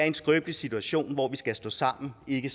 en skrøbelig situation hvor vi skal stå sammen ikke